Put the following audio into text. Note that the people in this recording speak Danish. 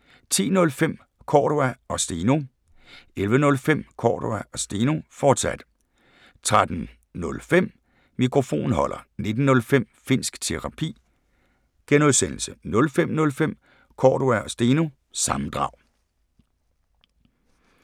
10:05: Cordua & Steno 11:05: Cordua & Steno, fortsat 13:05: Mikrofonholder 19:05: Finnsk Terapi (G) 05:05: Cordua & Steno – sammendrag